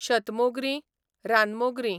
शतमोगरीं, रानमोगरीं